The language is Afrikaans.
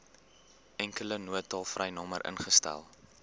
enkele noodtolvrynommer ingestel